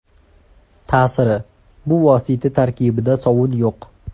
Ta’siri: Bu vosita tarkibida sovun yo‘q.